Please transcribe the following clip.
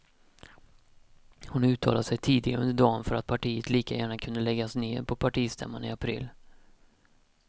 Hon uttalade sig tidigare under dagen för att partiet lika gärna kan läggas ned på partistämman i april.